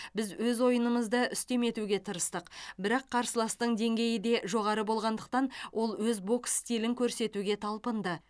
біз өз ойынымызды үстем етуге тырыстық бірақ қарсыластың деңгейі де жоғары болғандықтан ол өз бокс стилін көрсетуге талпынды